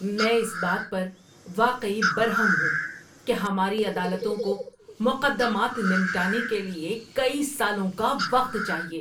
میں اس بات پر واقعی برہم ہوں کہ ہماری عدالتوں کو مقدمات نمٹانے کے لیے کئی سالوں کا وقت چاہیے۔